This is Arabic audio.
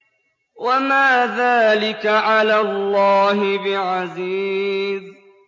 وَمَا ذَٰلِكَ عَلَى اللَّهِ بِعَزِيزٍ